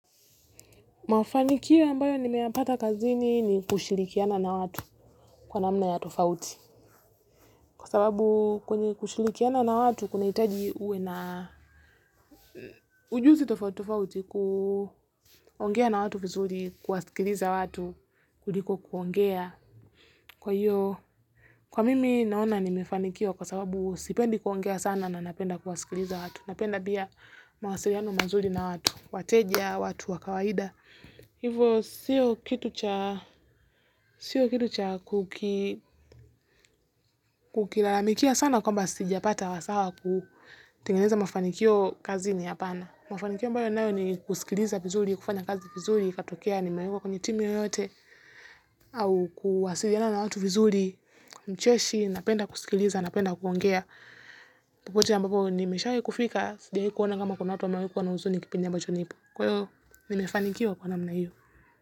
Mafanikio ambayo nimeyapata kazini ni kushirikiana na watu kwa namna ya tofauti kwa sababu kwenye kushirikiana na watu kunahitaji uwe na ujuzi tofauti tofauti kuongea na watu vizuri kuwasikiliza watu kuliko kuongea kwa hiyo kwa mimi naona nimefanikiwa kwa sababu sipendi kuongea sana na napenda kuwasikiliza watu napenda pia mawasiliano mazuri na watu wateja watu wa kawaida. Hivyo siyo kitu cha siyo kitu cha kuki kukilalamikia sana kwamba sijapata wasaa wa kutengeneza mafanikio kazini hapana mafanikio ambayo ninayo ni kusikiliza vizuri, kufanya kazi vizuri, ikatokea nimewekwa kwenye timu yoyote au kuwasiliana na watu vizuri, mcheshi, napenda kusikiliza, napenda kuongea popote ambapo nimeshawahi kufika, sijawahi kuona kama kuna watu wamewahi kuwa na huzuni kipindi ambacho nipo kwa hiyo nimefanikiwa kwa namna hiyo.